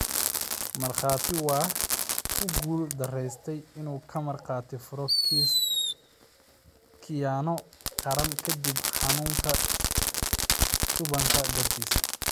Markhaati waa ku guul daraystay inuu ka marag furo kiis khiyaano qaran kadib xanunka shubanka dartiis.